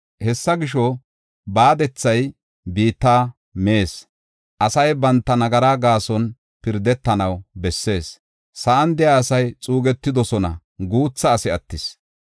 Hessa gisho, baadethay biitta mees; asay banta nagaraa gaason pirdetanaw bessees. Sa7an de7iya asay xuugetidosona; guutha asi attis.